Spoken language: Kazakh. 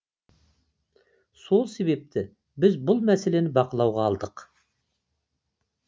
сол себепті біз бұл мәселені бақылауға алдық